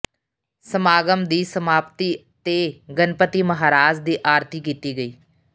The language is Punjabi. ਸਮਾਗਮ ਦੀ ਸਮਾਪਤੀ ਤੇ ਗਣਪਤੀ ਮਹਾਰਾਜ ਦੀ ਆਰਤੀ ਕੀਤੀ ਗਈ